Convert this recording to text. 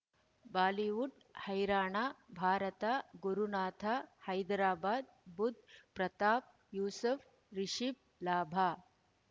Bollywood ಹೈರಾಣ ಭಾರತ ಗುರುನಾಥ ಹೈದರಾಬಾದ್ ಬುಧ್ ಪ್ರತಾಪ್ ಯೂಸುಫ್ ರಿಷಬ್ ಲಾಭ